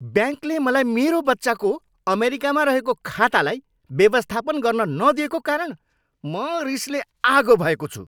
ब्याङ्कले मलाई मेरो बच्चाको अमेरिकामा रहेको खातालाई व्यवस्थापन गर्न नदिएको कारण म रिसले आगो भएको छु।